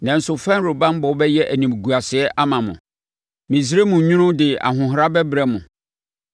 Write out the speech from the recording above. nanso Farao banbɔ bɛyɛ animguaseɛ ama mo. Misraim nwunu de ahohora bɛbrɛ mo.